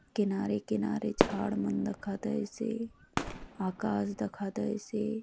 किनारे किनारे झाड़ मन दखा दयसे आकाश दखा दयसे।